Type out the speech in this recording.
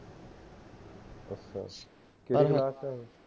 ਅਸ਼ਾ ਅਸ਼ਾ